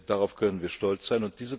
Welt. Darauf können wir stolz